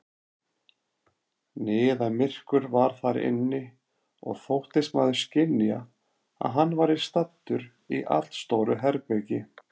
Niðamyrkur var þar inni, og þóttist maðurinn skynja, að hann væri staddur í allstóru herbergi.